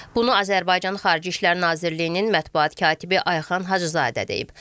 Bunu Azərbaycan Xarici İşlər Nazirliyinin mətbuat katibi Ayxan Hacızadə deyib.